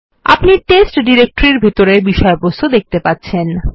আপনি টেস্ট ডিরেক্টরির বিষয়বস্তু দেখতে পাচ্ছেন